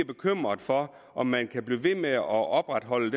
bekymret for om man kan blive ved med at opretholde